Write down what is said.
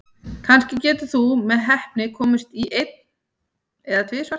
Kannski getur þú með heppni komist í einn, en tvisvar?